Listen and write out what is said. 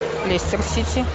лестер сити